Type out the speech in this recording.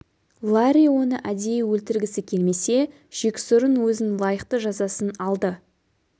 ларри оны әдейі өлтіргісі келмесе жексұрын өзін лайықты жазасын алды